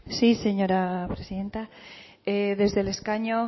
sí señora presidenta desde el escaño